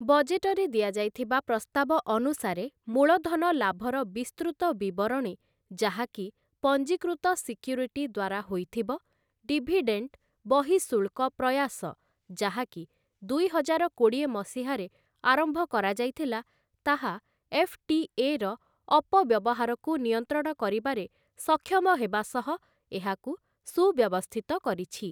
ବଜେଟରେ ଦିଆଯାଇଥିବା ପ୍ରସ୍ତାବ ଅନୁସାରେ ମୂଳଧନ ଲାଭର ବିସ୍ତୃତ ବିବରଣୀ ଯାହାକି ପଂଜୀକୃତ ସିକ୍ୟୁରିଟି ଦ୍ୱାରା ହୋଇଥିବ, ଡିଭିଡେଣ୍ଟ ବହିଃଶୁଳ୍କ ପ୍ରୟାସ ଯାହାକି ଦୁଇହଜାର କୋଡ଼ିଏ ମସିହାରେ ଆରମ୍ଭ କରାଯାଇଥିଲା ତାହା ଏଫ୍‌.ଟି.ଏ. ର ଅପବ୍ୟବହାରକୁ ନିୟନ୍ତ୍ରଣ କରିବାରେ ସକ୍ଷମ ହେବା ସହ ଏହାକୁ ସୁବ୍ୟବସ୍ଥିତ କରିଛି ।